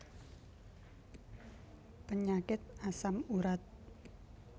Penyakit asam urat